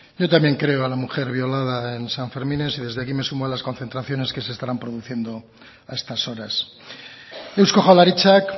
yo también creo a la mujer violada en sanfermines y desde aquí me sumo a las concentraciones que se estarán produciendo a estas horas eusko jaurlaritzak